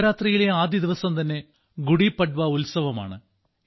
നവരാത്രിയിലെ ആദ്യദിവസം തന്നെ ഗുഡി പഡ്വ ഉത്സവമാണ്